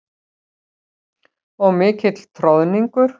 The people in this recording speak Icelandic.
Og mikill troðningur.